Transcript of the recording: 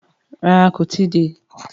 Rárá, kó tí ì dé.